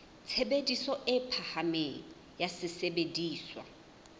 tshebediso e phahameng ya sesebediswa